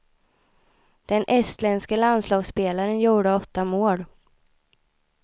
Den estländske landslagsspelaren gjorde åtta mål.